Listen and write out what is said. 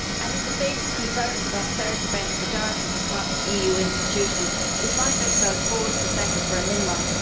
In the face of conservative austerity bent majorities across the EU institutions, we find ourselves forced to settle for a minimum.